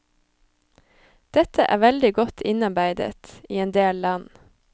Dette er veldig godt innarbeidet i en del land.